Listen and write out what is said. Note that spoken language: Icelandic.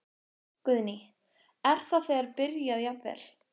Guðný: Er það þegar byrjað jafnvel?